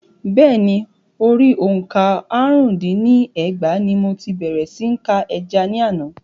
Bẹ́ẹ̀ni, orí òǹkà àrún dín ní ẹgbàá ní mo ti bèrè sí ní ka ẹja ní àná.